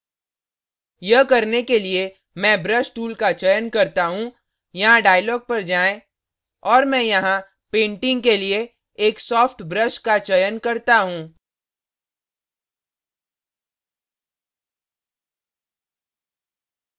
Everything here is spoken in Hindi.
यह करने के लिए मैं brush tool का चयन करता हूँ यहाँ dialog पर जाएँ और मैं यहाँ painting के लिए एक soft brush का चयन करता हूँ